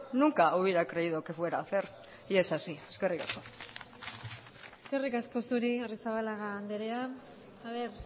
nunca hubiera creído que fuera a hacer y es así eskerrik asko eskerrik asko zuri arrizabalaga andrea aber